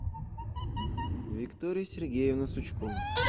виктория сергеевна сучкова